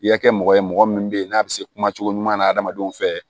I ka kɛ mɔgɔ ye mɔgɔ min bɛ yen n'a bɛ se kuma cogo ɲuman na adamadenw fɛ